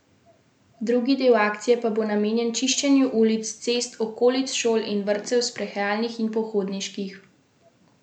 Drugi del akcije pa bo namenjen čiščenju ulic, cest, okolic šol in vrtcev, sprehajalnih in pohodniških poti.